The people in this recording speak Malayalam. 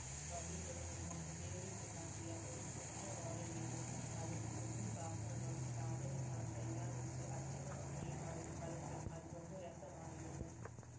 വടികളും എല്ലാം ഉപയോഗിച്ചുണ്ടാക്കിയ ഒരു കുഞ്ഞു ഓലവീട് അതിൽ കുഞ്ഞുപാത്രങ്ങളും സാധനങ്ങളും എല്ലാം വെച്ച് അച്ഛനും അമ്മയും ആയി കളിക്കൽ അത് ബഹുരസമായിരുന്നു